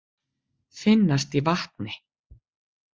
Finnast í vatni.